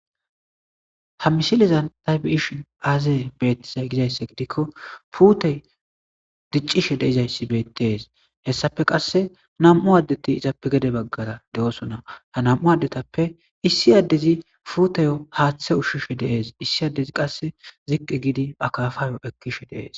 Ha misilizan taybiyishin aazeye beettizay gizayssa gidikko puutey diccishe deizayssi bettees hessafe qasse nam7u addeti izappe gede baggara de,osona ha nam7u addetappe issi addezi fuuteyo haaththe ushshishe deees issi addezi qasse ziqqi giidi akafayo ekkishe deees.